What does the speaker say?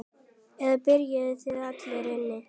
Eða byrgir þær allar inni.